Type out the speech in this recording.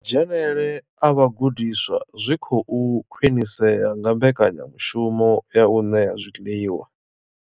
Dzhenele a vhagudiswa zwi khou khwinisea nga mbekanyamushumo ya u ṋea zwiḽiwa.